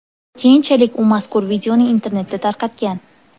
Keyinchalik u mazkur videoni internetda tarqatgan.